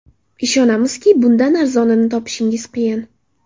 Ishonamizki, bundan arzonini topishingiz qiyin.